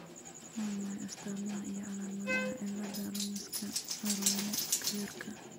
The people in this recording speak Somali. Waa maxay astamaha iyo calaamadaha cilada Ramoska Arroyo Clarka?